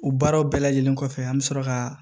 U baaraw bɛɛ lajɛlen kɔfɛ an bi sɔrɔ ka